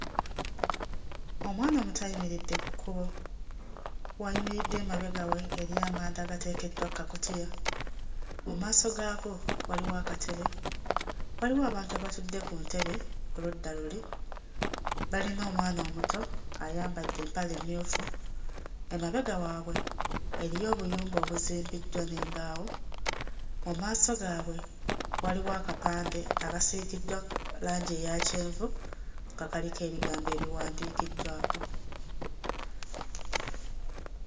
Omwana omuto ayimiridde ku kkubo w'ayimiridde emabega we eriyo amanda agateekeddwa kkakutiya mu maaso gaago waliwo akatebe waliwo abantu abatudde ku ntebe oludda luli balina omwana omuto ayambadde empale mmyufu emabega waabwe eriyo obuyumba obuzimbiddwa n'embaawo mu maaso gaabwe waliwo akapande akasiigiddwa langi eya kyenvu nga kaliko ebigambo ebiwandiikiddwako.